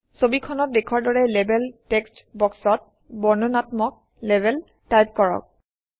ছবিখনত দেখুওৱাৰ দৰে লেবেল টেক্সট বক্সত বৰ্ণনাত্মক লেবেল টাইপ কৰক